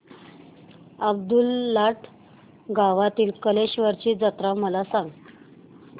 अब्दुललाट गावातील कलेश्वराची जत्रा मला सांग